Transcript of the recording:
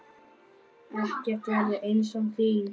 Ekkert verður eins án þín.